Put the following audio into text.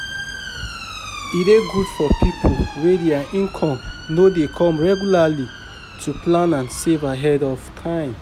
E dey good for pipo wey their income no dey come regularly to plan and save ahead of time